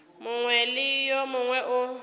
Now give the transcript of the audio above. mongwe le wo mongwe wo